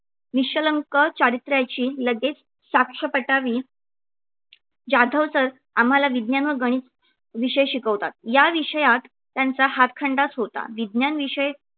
निष्कलंक चारित्र्याची लगेच साक्ष पटावी जाधव sir आम्हाला विज्ञान व गणित विषय शिकवतात. या विषयात त्यांचा हातखंडाच होता. विज्ञान विषय